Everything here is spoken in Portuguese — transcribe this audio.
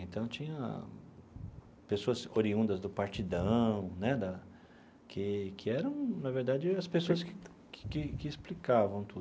Então, tinha pessoas oriundas do Partidão né da, que que eram, na verdade, as pessoas que que que explicavam tudo.